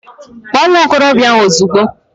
Kpọọ nwa okorobịa ahụ ozugbo